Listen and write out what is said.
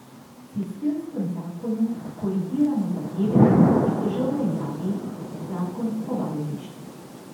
V sistemskem zakonu korigiramo zadeve, ki so že v veljavi, zakon o vajeništvu.